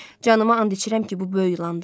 Canıma and içirəm ki, bu böyük yulandı.